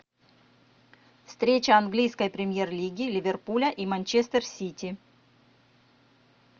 встреча английской премьер лиги ливерпуля и манчестер сити